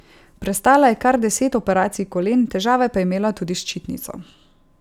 Prestala je kar deset operacij kolen, težave pa je imela tudi s ščitnico.